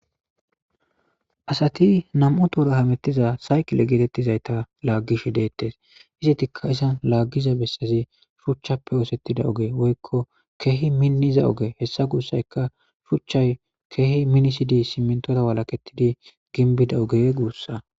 asati nam7u toura hamettiza sayqile geetettizayta laaggish deettes izitikka isan laaggiza bessazi shuchchappe oosettida oge woykko keehi minniza oge hessa guussayka shuchchay keehi minisidi simmintota walakettidi ginbida oge guussa